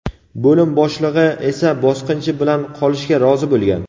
bo‘lim boshlig‘i esa bosqinchi bilan qolishga rozi bo‘lgan.